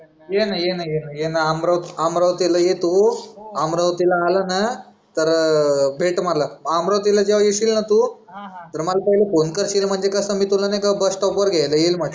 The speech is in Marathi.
ये न ये न ये न ये न ये न अम अमरावतील ये तू अमरावतील आला ना तर भेट मला अमरावतील जेव्हा येशील ना तू तर मला पहिले PHONE करशील म्हणजे कस मी तुला नाहीका BUSSTOP घ्यायला येईल म्हटल